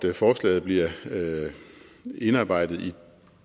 at forslaget bliver indarbejdet